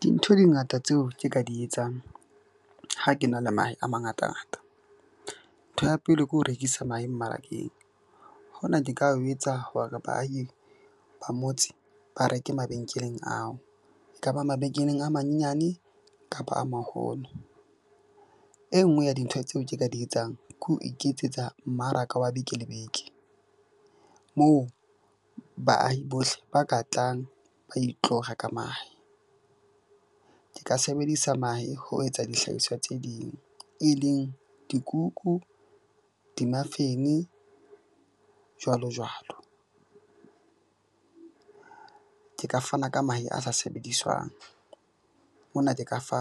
Dintho di ngata tseo ke ka di etsang. Ha ke na le mahe a mangatangata. Ntho ya pele ke ho rekisa mahe mmarakeng. Hona ke ka ho etsa hore baahi ba motse ba reke mabenkeleng ao, ekaba mabenkeleng a manyenyane kapa a maholo. E nngwe ya dintho tseo ke ka di etsang ke ho iketsetsa mmaraka wa beke le beke. Moo baahi bohle ba ka tlang ba itlo reka mahe. Ke ka sebedisa mahe ho etsa dihlahiswa tse ding, e leng dikuku di-muffin-e jwalo jwalo. Ke ka fana ka mahe a sa sebediswang, mona ke ka fa